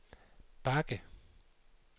bakke